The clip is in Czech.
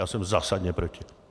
Já jsem zásadně proti.